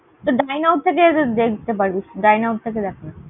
Dineout থেকে দেখতে পারবি। Dineout থেকে দেখনা।